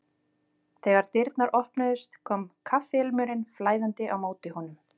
Þegar dyrnar opnuðust kom kaffiilmurinn flæðandi á móti honum.